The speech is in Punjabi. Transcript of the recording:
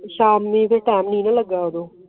ਸ਼ਾਮੀ ਟਾਈਮ ਨੀ ਲੱਗਿਆ ਉਹਨੂੰ